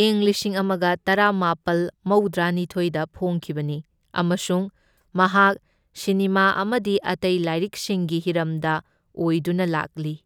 ꯏꯪ ꯂꯤꯁꯤꯡ ꯑꯃꯒ ꯇꯔꯥꯃꯥꯄꯜ ꯃꯧꯗ꯭ꯔꯥꯅꯤꯊꯣꯢꯗ ꯐꯣꯡꯈꯤꯕꯅꯤ ꯑꯃꯁꯨꯡ ꯃꯍꯥꯛ ꯁꯤꯅꯦꯃꯥ ꯑꯃꯗꯤ ꯑꯇꯩ ꯂꯥꯏꯔꯤꯛꯁꯤꯡꯒꯤ ꯍꯤꯔꯝꯗ ꯑꯣꯏꯗꯨꯅ ꯂꯥꯛꯂꯤ꯫